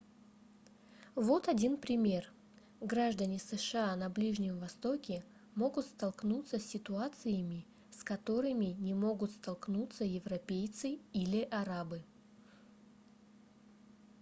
вот один пример граждане сша на ближнем востоке могут столкнуться с ситуациями с которыми не могут столкунться европейцы или арабы